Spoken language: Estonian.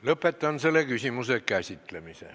Lõpetan selle küsimuse käsitlemise.